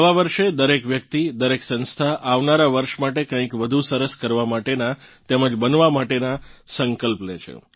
નવાં વર્ષે દરેક વ્યક્તિ દરેક સંસ્થા આવનારાં વર્ષ માટે કંઇક વધુ સરસ કરવા માટેનાં તેમજ બનવા માટેનાં સંકલ્પ લે છે